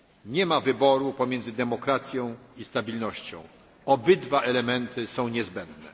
Nie ma wyboru pomiędzy demokracją i stabilnością, obydwa elementy są niezbędne.